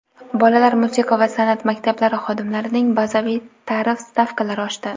Bolalar musiqa va sanʼat maktablari xodimlarining bazaviy tarif stavkalari oshdi.